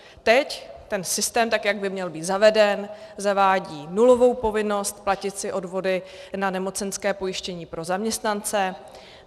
Teď ten systém, tak jak by měl být zaveden, zavádí nulovou povinnost platit si odvody na nemocenské pojištění pro zaměstnance.